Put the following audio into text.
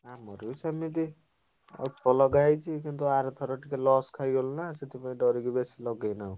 ଆମର ବି ସେମିତି ଅଳ୍ପ ଲଗାହେଇଛି କିନ୍ତୁ ଆରଥର ଟିକେ loss ଖାଇଗଲୁ ନାଁ ସେଠିପାଇଁ ଡରିକି ବେଶୀ ଲଗେଇନାହୁଁ।